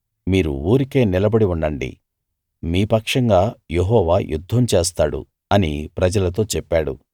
మీరు ఊరికే నిలబడి ఉండండి మీ పక్షంగా యెహోవా యుద్ధం చేస్తాడు అని ప్రజలతో చెప్పాడు